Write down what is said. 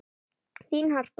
Þín Harpa.